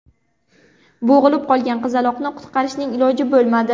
Bo‘g‘ilib qolgan qizaloqni qutqarishning iloji bo‘lmadi.